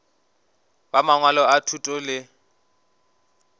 ba mangwalo a thuto le